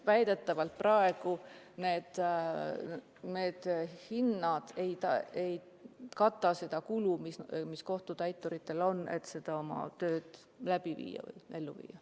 Väidetavalt praegu need tasud ei kata seda kulu, mis kohtutäituritel on, et oma tööd teha.